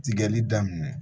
Tigɛli daminɛ